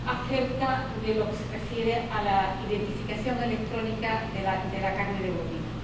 acerca de la identificación electrónica de la carne de bovino.